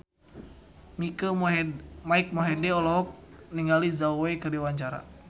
Mike Mohede olohok ningali Zhao Wei keur diwawancara